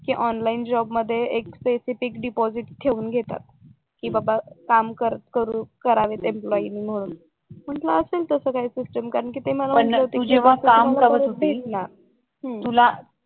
कि online job मध्ये एक फिक्स डिपॉझिट ठेवून घेतात कि बाबा काम करावं त्यांनी म्हणून म्हंटल असेल तस काही सिस्टीम कारण कि ते,